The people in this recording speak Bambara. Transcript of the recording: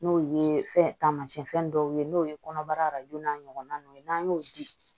N'o ye fɛn taamasiyɛn dɔw ye n'o ye kɔnɔbara n'a ɲɔgɔnnaw ye n'an y'o di